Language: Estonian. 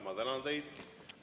Ma tänan teid.